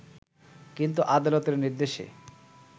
কিন্তু আদালতের নির্দেশে